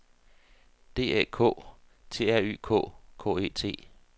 D Æ K T R Y K K E T